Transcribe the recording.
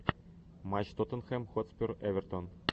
матч тоттенхэм хотспур эвертон